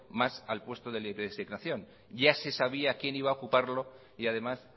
más al puesto de libre asignación ya se sabía quién iba a ocuparlo y además